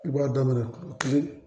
I b'a daminɛ kile